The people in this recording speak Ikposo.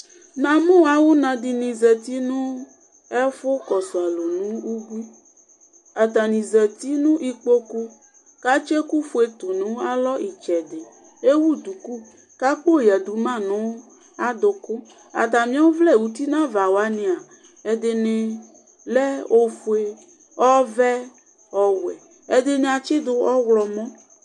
Namʋ awʋna di ni azati nʋ ɛfʋkɔsʋ alʋ nʋ ubui Atani zati nʋ ikpoku kʋ atsi ɛkʋfue tʋ nʋ alɔ itsɛdi Ewu duku kʋ akpo yadu ma nʋ adʋkʋ Atami ɔvlɛ uti nava wani a, ɛdini lɛ ofue, ɔvɛ, ɔwɛ, ɛdini atsidu ɔwlɔmɔ